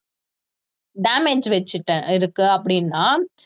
damage வச்சுட்ட இருக்கு அப்படின்னா